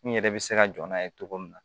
N yɛrɛ bɛ se ka jɔ n'a ye cogo min na